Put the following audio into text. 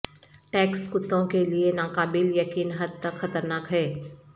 tax کتوں کے لئے ناقابل یقین حد تک خطرناک ہیں